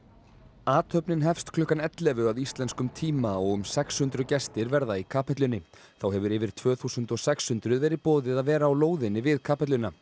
athöfnin hefst klukkan ellefu að íslenskum tíma og um sex hundruð gestir verða í kapellunni þá hefur yfir tvö þúsund og sex hundruð verið boðið að vera á lóðinni við kapelluna